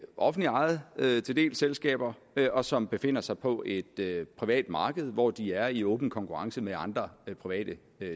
offentligt ejede selskaber og som befinder sig på et privat marked hvor de er i åben konkurrence med andre private